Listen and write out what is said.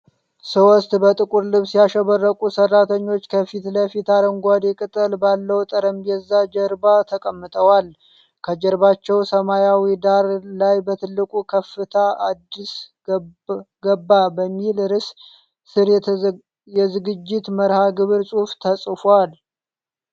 ሶስት በጥቁር ልብስ ያሸበረቁ ሰራተኞች ከፊት ለፊታቸው አረንጓዴ ቅጠል ባለው ጠረጴዛ ጀርባ ተቀምጠዋል። ከጀርባቸው ሰማያዊ ዳራ ላይ በትልቅ "ከፍታ አድስ ገባ" በሚል ርዕስ ስር የዝግጅት መርሃ ግብር ጽሑፍ ተጽፏል።